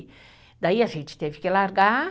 Daí a gente teve que largar.